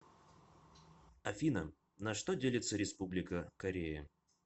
афина на что делится республика корея